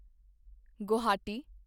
Guwahati